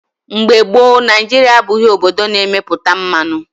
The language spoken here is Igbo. Mgbe gboo, Naijiria abụghị obodo na-emepụta mmanụ.